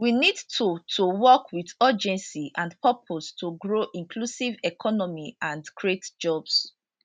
we need to to work wit urgency and purpose to grow inclusive economy and create jobs